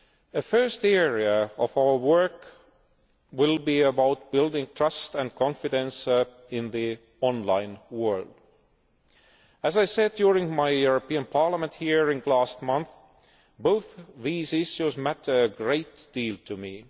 A first area of our work will be about building trust and confidence in the online world. As I said during my European Parliament hearing last month, both these issues matter a great deal to me.